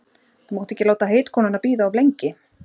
Þú mátt ekki láta heitkonuna bíða of lengi.